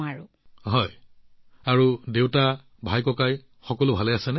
মোদী জীঃ হয় আৰু দেউতা ভাই আদি সকলো ঠিকেই আছে